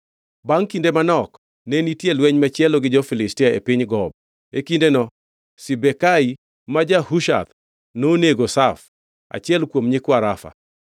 Bangʼ kinde manok, ne nitie lweny machielo gi jo-Filistia e piny Gob. E kindeno Sibekai ma ja-Hushath nonego Saf, achiel kuom nyikwa Rafa.